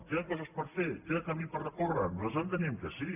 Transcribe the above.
queden coses per fer queda camí per recórrer nosaltres enteníem que sí